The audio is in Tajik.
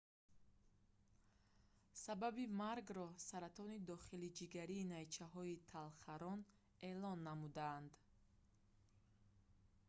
сабаби маргро саратони дохилиҷигарии найчаҳои талхарон эълон намуданд